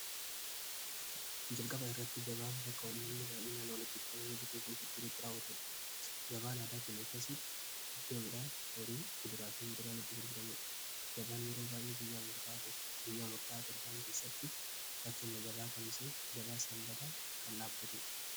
Jalqaba irratti gabaa bakka ummanni baa'ii naan oolitti ekoami bituufi gurguretti raawwaturu gabaan aadaa kinna keessatti iddoo idhaan horii kuduraati uduraan itti gurguramudhu gabaan yeroo baa'ee guyyaa murtaa torbaan keessatti fakkenna gabaa kamisee gabaa sanbata kan dhaabatuudha.